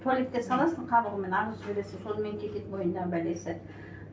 туалетке саласың қабығымен ағызып жібересің сонымен кетеді мойнындағы бәлесі